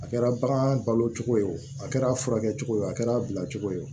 A kɛra bagan balo cogo ye o a kɛra a furakɛ cogo a kɛra a bila cogo ye